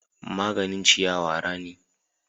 Maganin ciyawa rani.